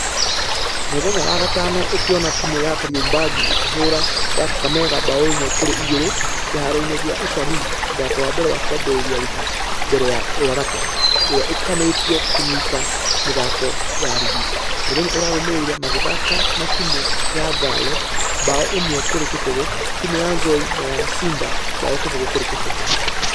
Mũthenya wa gatano ũkĩona timũ ya kariobangi ĩkĩhora ya kakamega bao ĩmwe kũrĩ igĩrĩ kĩharo-inĩ gĩa utalii mũthako wa mbere wa kũambĩrĩria rengĩ mbere ya ruaraka. Ĩrĩa ĩkanĩtio kũnyita nĩthako ya rigi .....mũthenya ũrarũmĩrĩire ,magĩthaka na timũ ya ngare bao ĩmwe kũrĩ kĩbũgũ , timũ ya nzoia na ya cider bao kĩbũgũ kũrĩ kĩbũgũ.